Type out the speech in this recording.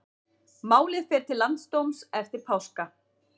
Málið fer til landsdóms eftir páska